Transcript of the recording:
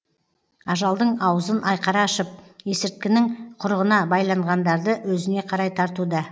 ажалдың аузын айқара ашып есірткінің құрығына байланғандарды өзіне қарай тартуда